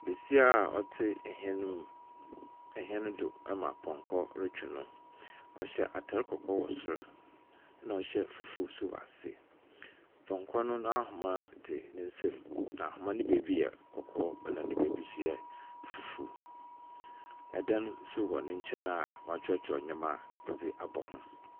Besia a ztse hyɛn mu hyɛn do ama pɔnkɔ retwe no. Ɔhyɛ atar kɔkɔɔ wɔ soro, na ɔhye fufuw nso wɔase. Pɔnkɔ no n'anomba dze ne nsam, na ahomba no beebi yɛ ɔkɔɔ, na ne beebi nso yɛ fufuw. Dan nso wɔ ne nkyɛn a wɔakyerɛwkyerɛw ndzɛmba dze abɔ ho.